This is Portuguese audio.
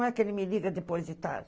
Não é que ele me liga depois de tarde.